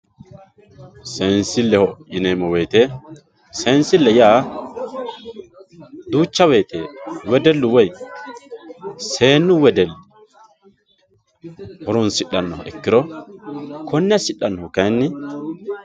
seensilleho yineemmo woyiite seensile yaa duucha woyiite wedellu woy seennu wedelli horoonsishannoha ikkiro konne assidhannori kayni.